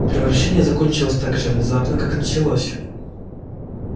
превращение закончилось так же внезапно как началось